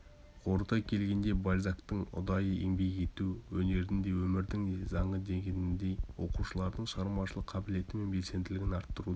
қорыта келгенде бальзактың ұдайы еңбек ету өнердің де өмірдің де заңы дегеніндей оқушылардың шығармашылық қабілеті мен белсенділігін артыруда